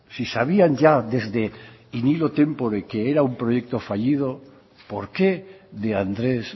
si sabían ya desde in illo tempore que era un proyecto fallido por qué de andrés